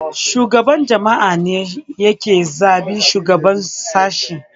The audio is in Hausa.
Shugaban jami'a ne yake zaɓen shugaban sashe